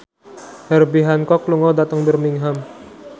Herbie Hancock lunga dhateng Birmingham